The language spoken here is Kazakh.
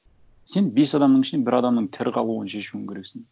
сен бес адамның ішінен бір адамның тірі қалуын шешуің керексің